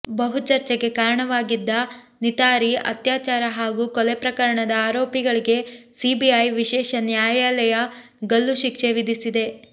ಬಹು ಚರ್ಚೆಗೆ ಕಾರಣವಾಗಿದ್ದ ನಿತಾರಿ ಅತ್ಯಾಚಾರ ಹಾಗೂ ಕೊಲೆ ಪ್ರಕರಣದ ಆರೋಪಿಗಳಿಗೆ ಸಿಬಿಐ ವಿಶೇಷ ನ್ಯಾಯಾಲಯ ಗಲ್ಲು ಶಿಕ್ಷೆ ವಿಧಿಸಿದೆ